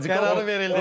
Yəni qərarı verildi.